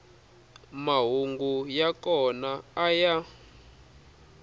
mahungu ya kona a ya